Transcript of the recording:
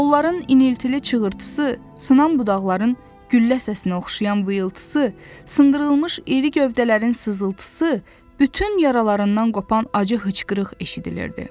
Onların iniltili çığırtısı, sınan budaqların güllə səsinə oxşayan vıyılıltısı, sındırılmış iri gövdələrin sızıltısı, bütün yaralarından qopan acı hıçqırıq eşidilirdi.